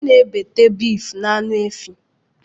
Ana ebete beeefu na aṅụ efi.